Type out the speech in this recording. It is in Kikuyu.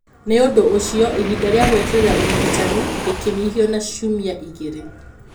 Nĩ ũndũ ũcio, ihinda rĩa gweterera ũrigitani rĩkĩninihio na ciumia igĩrĩ.